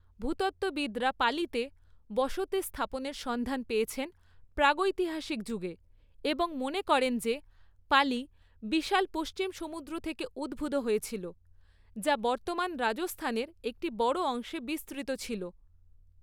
ভূতত্ত্ববিদরা পালিতে, বসতি স্থাপনের সন্ধান পেয়েছেন প্রাগৈতিহাসিক যুগে এবং মনে করেন যে পালি বিশাল পশ্চিম সমুদ্র থেকে উদ্ভূত হয়েছিল, যা বর্তমান রাজস্থানের একটি বড় অংশে বিস্তৃত ছিল।